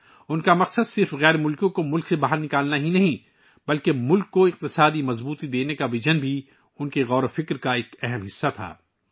ان کا مقصد نہ صرف غیر ملکیوں کو ملک سے بے دخل کرنا تھا بلکہ ملک کو معاشی طاقت دینے کا وژن بھی ان کی سوچ کا ایک اہم حصہ تھا